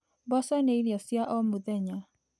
Mboco nĩ irio cia o mũthenya.